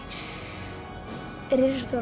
risastór